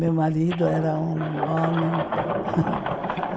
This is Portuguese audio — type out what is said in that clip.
Meu marido era um homem.